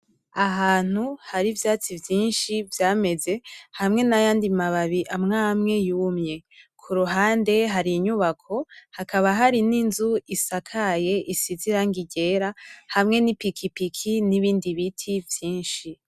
Ahantu hari ivyatsi vyinshi vyameze hamwe n'ayandi mababi amwe amwe yumye kuruhande hari inyubako hakaba hari n'inzu isakaye isize irangi ryera hamwe n'ipikipiki nibindi biti vyinshi.